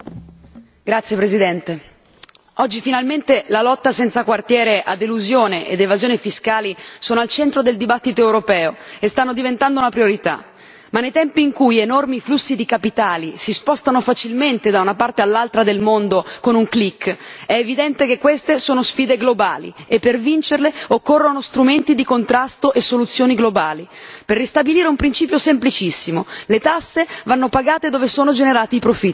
Signor Presidente, onorevoli colleghi, oggi finalmente la lotta senza quartiere a elusione ed evasione fiscali sono al centro del dibattito europeo e stanno diventando una priorità. Ma nei tempi in cui enormi flussi di capitali si spostano facilmente da una parte all'altra del mondo con un clic, è evidente che queste sono sfide globali e per vincerle occorrono strumenti di contrasto e soluzioni globali, per ristabilire un principio semplicissimo le tasse vanno pagate dove sono generati i profitti.